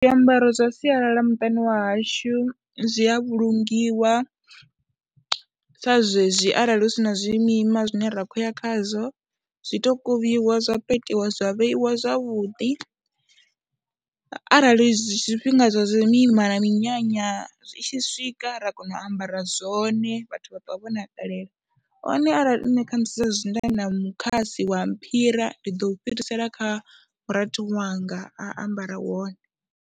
Zwiambaro zwa sialala muṱani wa hashu zwi a vhulungiwa sa zwezwi arali hu si na zwimima zwine ra khou ya khazwo zwi tou kuvhiwa zwa petiwa zwa vheiwa zwavhuḓi arali zwifhinga zwa zwimima na minyanya zwi tshi swika ra kona u ambara zwone vhathu vha ṱwa vho nakelela hone arali nṋe kha musi zwezwi nda na mukhasi wa mphira ndi ḓo u fhirisela kha murathu wanga, a ambara wone.